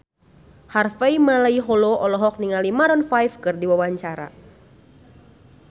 Harvey Malaiholo olohok ningali Maroon 5 keur diwawancara